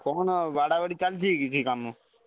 କଣ ଆଉ ବାଡା ବାଡି ଚାଲିଛି କିଛି କାମ?